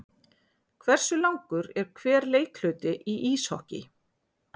Hversu langur er hver leikhluti í íshokký?